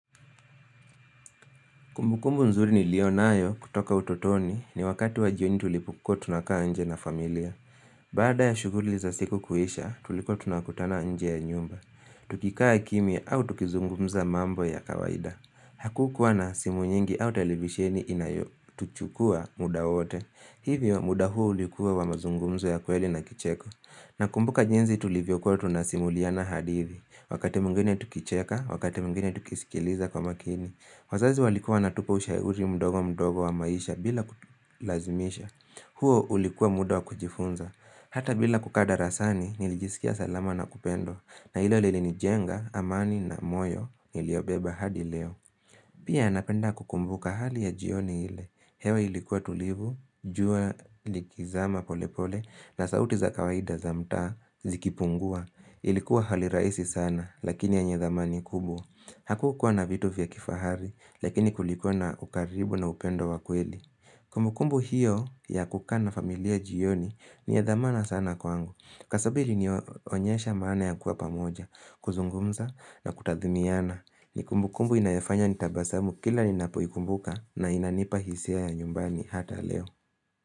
Kumbukumbu nzuri niliyo nayo kutoka utotoni ni wakati wa jioni tulipo kuwa tunakaa nje na familia. Bada ya shuguli za siku kuhisha, tulikuwa tunakutana nje ya nyumba. Tukikaa kimia au tukizungumza mambo ya kawaida. Hakukuwa na simu nyingi au televisheni inayo, tuchukua muda wote. Hivyo, muda huo ulikuwa wa mazungumzo ya kweli na kicheko. Na kumbuka jinzi tulivyo kuwa tunasimuliana hadithi. Wakati mwingene tukicheka, wakati mwingine tukisikiliza kwa makini. Wazazi walikuwa wanatupa ushauri mdogo mdogo wa maisha bila kutulazimisha. Huo ulikuwa muda wa kujifunza. Hata bila kukada rasani, nilijisikia salama na kupendo. Na ilo lili nijenga, amani na moyo, niliobeba hadi leo. Pia napenda kukumbuka hali ya jioni ile. Hewa ilikuwa tulivu, jua likizama pole pole, na sauti za kawaida za mta zikipungua. Ilikuwa hali raisi sana, lakini yenye thamani kubwa. Hakukuwa na vitu vya kifahari, lakini kulikona ukaribu na upendo wakweli. Kumbukumbu hiyo ya kukaa na familia jioni ni ya thamani sana kwangu. Kwasababu ili ni onyesha maana ya kuwa pamoja, kuzungumza na kutathiminiana. Nikumbukumbu inayafanya nitabasamu kila ninapo ikumbuka na inanipa hisia ya nyumbani hata leo.